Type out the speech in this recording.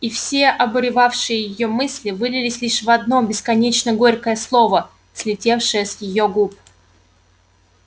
и все обуревавшие её мысли вылились лишь в одно бесконечно горькое слово слетевшее с её губ